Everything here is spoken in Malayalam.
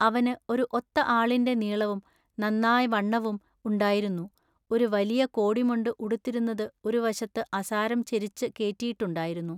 അവനു ഒരു ഒത്ത ആളിന്റെ നീളവും നന്നാവണ്ണവും ഉണ്ടായിരുന്നു, ഒരു വലിയകോടിമുണ്ടു ഉടുത്തിരുന്നതു ഒരു വശത്തു അസാരം ചെരിച്ചു കേറ്റിയിട്ടുണ്ടായിരുന്നു.